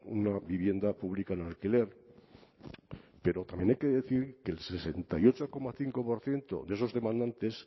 una vivienda pública en alquiler pero también hay que decir que el sesenta y ocho coma cinco por ciento de esos demandantes